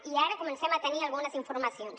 i ara comencem a tenir algunes informacions